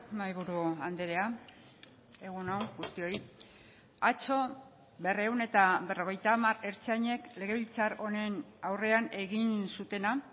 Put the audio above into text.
mahaiburu andrea egun on guztioi atzo berrehun eta berrogeita hamar ertzainek legebiltzar honen aurrean egin zutena